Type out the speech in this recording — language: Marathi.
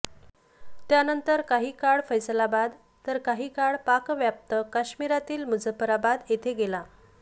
त्यानंतर काही काळ फैसलाबाद तर काही काळ पाकव्याप्त काश्मिरातील मुझफ्फराबाद येथे गेला